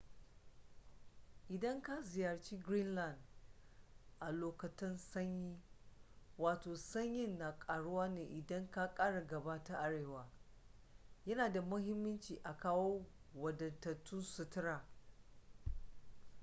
idan ka ziyarci greenland a lokutan sanyi sanyin na karuwa ne idan ka kara gaba ta arewa yana da muhimmanci a kawo wadatattun sutura